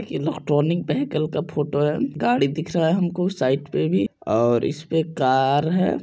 ये electronic bicycle का photo है गाड़ी दिख रहा है हमको साइक पे भी और इस पे कार है।